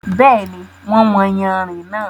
Bẹ́ẹ̀ni, wọ́n wọn yànrin náà.